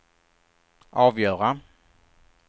avgöra